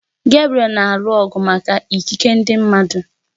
Gebriel na-alụ ọgụ maka ikike ndị mmadụ